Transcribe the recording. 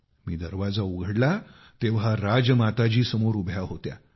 मी दरवाजा उघडला तेव्हा राजमाताजी समोर उभ्या होत्या